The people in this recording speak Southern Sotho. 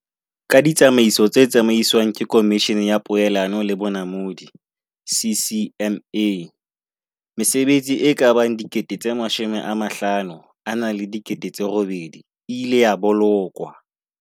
Ka ditsa maiso tse tsamaiswang ke Komishene ya Poelano le Bonamodi, CCMA, mesebetsi e ka bang 58 000 e ileng ya bo lokwa.